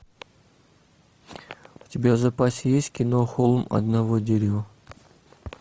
у тебя в запасе есть кино холм одного дерева